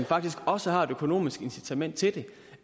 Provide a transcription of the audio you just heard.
faktisk også har et økonomisk incitament til det